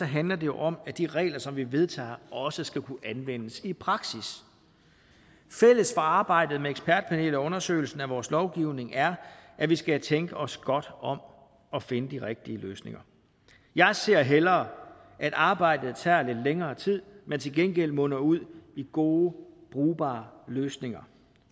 handler det jo om at de regler som vi vedtager også skal kunne anvendes i praksis fælles for arbejdet med ekspertpanelet og undersøgelsen af vores lovgivning er at vi skal tænke os godt om og finde de rigtige løsninger jeg ser hellere at arbejdet tager lidt længere tid men til gengæld munder ud i gode og brugbare løsninger